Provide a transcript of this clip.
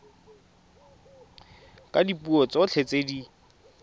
ka dipuo tsotlhe tse di